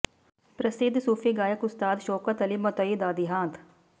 ਪ੍ਰਸਿੱਧ ਸੂਫ਼ੀ ਗਾਇਕ ਉਸਤਾਦ ਸ਼ੌਕਤ ਅਲੀ ਮਤੋਈ ਦਾ ਦਿਹਾਂਤ